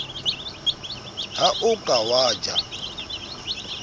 ha o ka wa ja